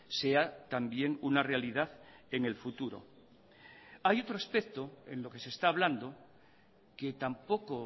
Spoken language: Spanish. sea también una realidad en el futuro hay otro aspecto en lo que se está hablando que tampoco